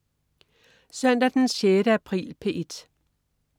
Søndag den 6. april - P1: